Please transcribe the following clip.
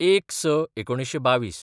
०१/०६/१९२२